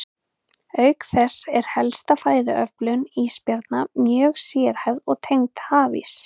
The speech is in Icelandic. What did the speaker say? Auk þess er helsta fæðuöflun ísbjarna mjög sérhæfð og tengd hafís.